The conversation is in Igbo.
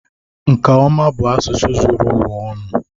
nkà ọma bụ asụsụ zuru ụwa ọnụ